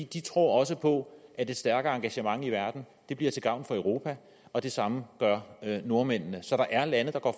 de tror også på at et stærkere engagement i verden bliver til gavn for europa og det samme gør nordmændene så der er lande der går